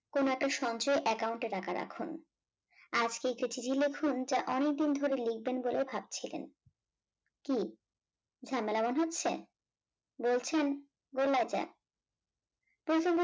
কোন একটা সঞ্চয়ে account এ টাকা রাখুন আজকেই চিঠি টি লিখুন যে অনেকদিন ধরেই লিখবেন বলে ভাবছিলেন কি ঝামেলা মনে হচ্ছে? বলছেন বলা যাক